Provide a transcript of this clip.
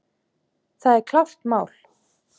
Það er klárt mál.